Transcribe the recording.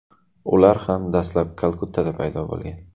Ular ham dastlab Kalkuttada paydo bo‘lgan.